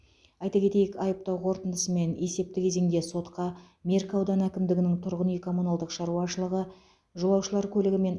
айта кетейік айыптау қорытындысымен есепті кезеңде сотқа меркі ауданы әкімдігінің тұрғын үй коммуналдық шаруашылығы жолаушылар көлігі мен